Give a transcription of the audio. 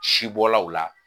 Sibɔlaw la